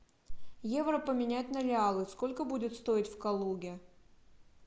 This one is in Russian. евро поменять на реалы сколько будет стоить в калуге